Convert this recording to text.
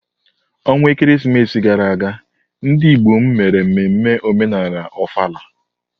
onwa ekeresimesi gara aga, ndị Igbo m mere mmemme omenala Ofala.